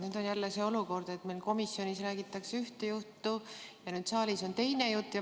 Nüüd on jälle see olukord, kus meil komisjonis räägitakse ühte juttu ja saalis on teine jutt.